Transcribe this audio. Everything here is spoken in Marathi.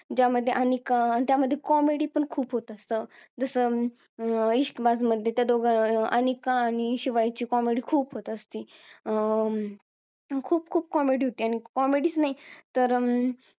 ज्यामध्ये अनिका आणि त्यामध्ये comedy पण खूप होतं असत जस इश्कबाज मध्ये त्या दोघांची आ~ आनिका आणि शिवायची comedy खूप होत असती अं खूप खूप comedy होते आणि comedy च नाही तर अं